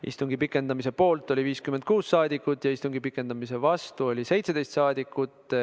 Istungi pikendamise poolt oli 56 rahvasaadikut ja istungi pikendamise vastu oli 17 rahvasaadikut.